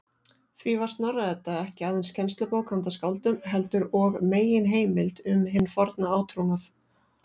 Því var Snorra-Edda ekki aðeins kennslubók handa skáldum, heldur og meginheimild um hinn forna átrúnað.